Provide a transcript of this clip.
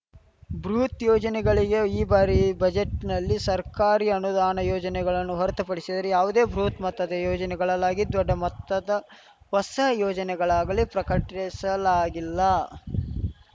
ಬೃಹತ್‌ ಯೋಜನೆಗಳಿಗೆ ಈ ಬಾರಿ ಬಜೆಟ್‌ನಲ್ಲಿ ಸರ್ಕಾರಿ ಅನುದಾನ ಯೋಜನೆಗಳನ್ನು ಹೊರತುಪಡಿಸಿದರೆ ಯಾವುದೇ ಬೃಹತ್‌ ಮೊತ್ತದ ಯೋಜನೆಗಳಾಲ್ಲಾಗಲಿ ದೊಡ್ಡ ಮೊತ್ತದ ಹೊಸ ಯೋಜನೆಗಳಾಗಲಿ ಪ್ರಕಟಿಸಲಾಗಿಲ್ಲ